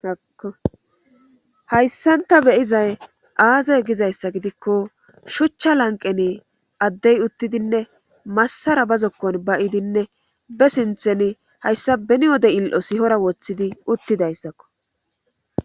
haakko hayssan ta beyizay aaze gizayssa gidikko shuchcha lanqeni addey uttidinne massara ba zokkon ba idinne be sinthen hayssa beni wode il7o sihora woththidi uttidayssakko